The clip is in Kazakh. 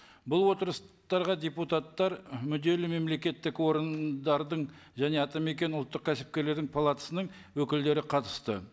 бұл отырыстарға депутаттар мүдделі мемлекеттік органдардың және атамекен ұлттық кәсіпкерлердің палатасының өкілдері қатысты